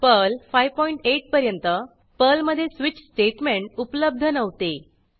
Perl 58 पर्यंत पर्लमधे switch statement उपलब्ध नव्हते